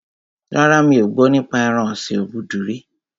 Rárá, mi ò gbọ́ nípa ẹran ọ̀sin obudu rí